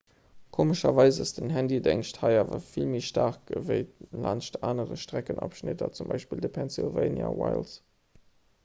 komescherweis ass den handydéngscht hei awer vill méi staark ewéi laanscht anere streckenabschnitter z b de pennsylvania wilds